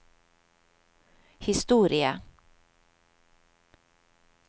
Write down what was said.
historie